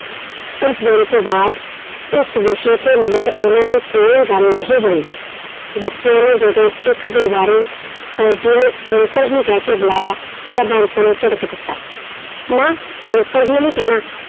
ਉਸ ਦਿਨ ਤੋਂ ਬਾਅਦ ਇਸ ਵਿਸ਼ੇ ਤੇ ਮੁੜ ਉਹਨਾਂ ਦੀ ਕੋਈ ਗੱਲ ਨਹੀਂ ਹੋਈ, ਬੱਚਿਆਂ ਨੇ ਜਦੋਂ ਇੱਕ ਦੁਬਾਰੇ ਫ਼ੋਜ਼ੀ ਨੂੰ ਅੰਕਲ ਜੀ ਕਹਿ ਕੇ ਬੁਲਾਇਆ ਤਾਂ ਬਾਂਸੋ ਨੇ ਝਿੜਕ ਦਿੱਤਾ, ਨਾ ਅੰਕਲ ਜੀ ਨੀ ਕਹਿਣਾ,